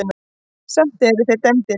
Samt eru þeir dæmdir.